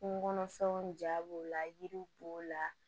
Kungo kɔnɔfɛnw ja b'o la yiriw b'o la